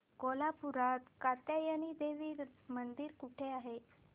कोल्हापूरात कात्यायनी देवी मंदिर कुठे आहे